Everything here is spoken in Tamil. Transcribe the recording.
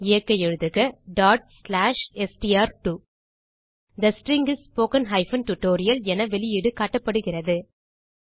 இயக்க எழுதுக str2 the string is spoken tutorial என வெளியீடு காட்டப்படுகிறது